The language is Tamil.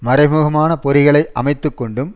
மறைமுகமான பொறிகளை அமைத்து கொண்டும்